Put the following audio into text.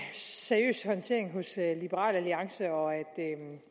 seriøs håndtering hos liberal alliance og at